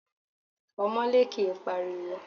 Ọmọlé kìí pariwo.